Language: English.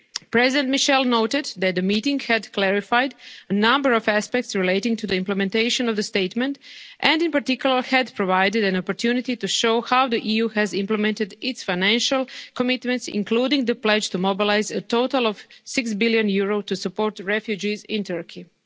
European Union. President Michel noted that the meeting had clarified a number of aspects relating to the implementation of the statement, and, in particular, had provided an opportunity to show how the EU has implemented its financial commitments, including the pledge to mobilise a total of EUR 6 billion to support refugees